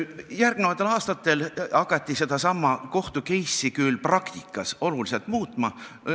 Järgnenud aastatel hakati sellesama kohtu-case'i lahendit küll praktikas oluliselt muutma.